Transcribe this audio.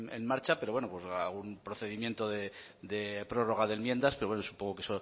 en marcha pero bueno algún procedimiento de prórroga de enmiendas pero bueno supongo que